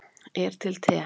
er til te